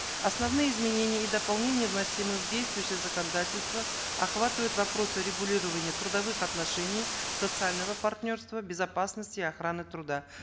основные изменения и дополнения вносимые в действующее законодательство охватывают вопросы регулирования трудовых отношений социального партнерства безопасности охраны труда